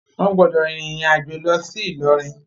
Wọn gbọdọ rin irin ajo lọ si Ilorin!